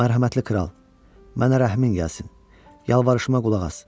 Mərhəmətli kral, mənə rəhmin gəlsin, yalvarışıma qulaq as.